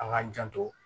An k'an janto